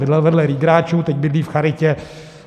Bydlel vedle Riegráků, teď bydlí v charitě.